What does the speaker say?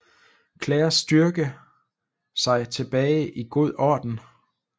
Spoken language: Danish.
Clairs styrke sig tilbage i god orden